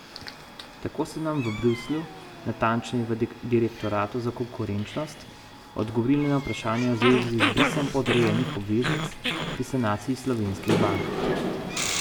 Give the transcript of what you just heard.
Tako so nam v Bruslju, natančneje v direktoratu za konkurenčnost, odgovorili na vprašanja v zvezi z izbrisom podrejenih obveznic pri sanaciji slovenskih bank.